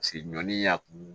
ɲɔ y'a kun